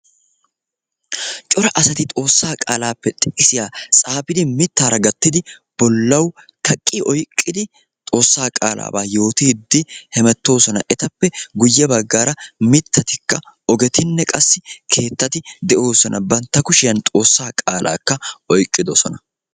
Cora asati xoossaa qaalaappe xiqisiya tsaafidi mittaara gattidi bollawu kaqqi oyiqqidi xoossaa qaalaabaa yootiiddi hemettoosona. Etappe guyye baggaara mittatikka ogetinne qassi keettati de'oosona. Bantta kushiyan xoossaa qaalaakka oyiqqidosona.